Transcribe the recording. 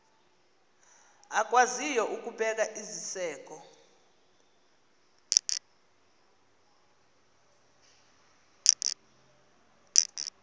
akwaziyo ukubeka iziseko